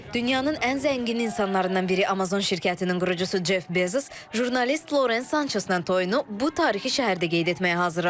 Dünyanın ən zəngin insanlarından biri Amazon şirkətinin qurucusu Ceff Bezos jurnalist Loren Sançeslə toyunu bu tarixi şəhərdə qeyd etməyə hazırlaşır.